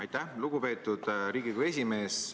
Aitäh, lugupeetud Riigikogu esimees!